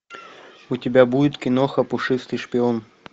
у тебя будет киноха пушистый шпион